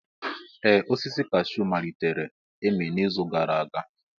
Ee osisi cashew malitere ịmị n'izu gara aga.